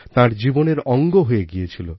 তাঁর জীবনের অঙ্গ হয়ে গিয়েছিল